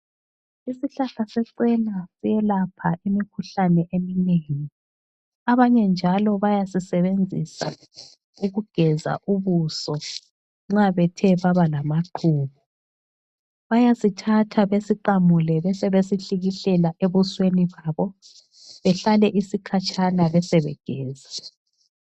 Isihlahla secena siyelapha imikhuhlane eminengi. Abanye njalo bayasisebenzisa ukugeza ubuso nxa bethe baba lamaqhubu. Bayasithatha besiqamule besebesihlikihlela ebusweni babo behlale isikhatshana besebegeza.